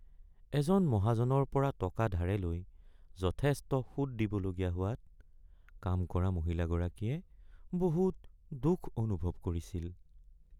এজন মহাজনৰ পৰা টকা ধাৰে লৈ যথেষ্ট সুত দিবলগীয়া হোৱাত কাম কৰা মহিলাগৰাকীয়ে বহুত দুখ অনুভৱ কৰিছিল।